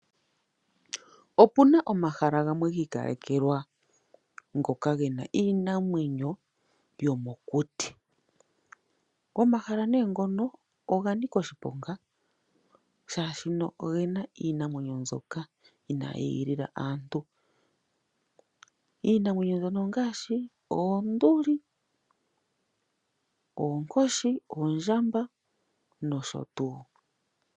Opena omahala gamwe giikalekelwa ngoka gena iinamwenyo yomokuti. Omahala ngono oga nika oshiponga shaashi omuna iinamwenyo ndyoka inaayi igilila aantu. Iinamwenyo ndyono ongaashi oonduli, oonkoshi, oondjamba noshotuu.